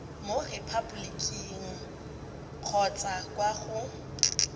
mo repaboliking kgotsa kwa go